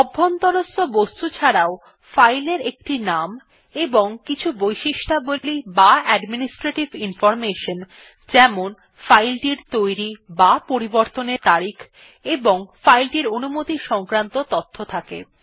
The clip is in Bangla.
অভ্যন্তরস্থ বস্তু ছাড়াও ফাইলের একটি নাম এবং কিছু বৈশিষ্ট্যাবলী বা অ্যাডমিনিস্ট্রেটিভ ইনফরমেশন যেমন ফাইল টির তৈরী বা পরিবর্তনের তারিখ ও অনুমতি সংক্রান্ত তথ্য থাকে